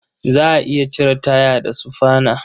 Za a iya cire taya da sufana.